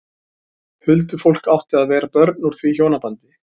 Huldufólk átti að vera börn úr því hjónabandi.